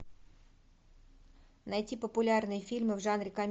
найти популярные фильмы в жанре